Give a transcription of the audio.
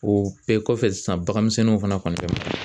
O bɛɛ kɔfɛ sisan baganmisɛnninw fana kɔni tɛ